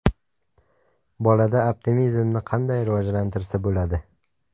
Bolada optimizmni qanday rivojlantirsa bo‘ladi?